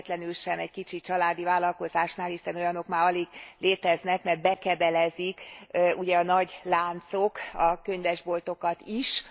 Véletlenül sem egy kicsi családi vállalkozásnál, hiszen olyanok már alig léteznek, mert bekebelezik ugye a nagy láncok a könyvesboltokat is.